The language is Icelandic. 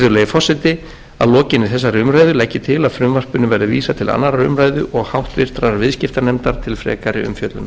forseti að lokinni þessari umræðu legg ég til að frumvarpinu verði vísað til annarrar umræðu og háttvirtur viðskiptanefndar til frekari umfjöllunar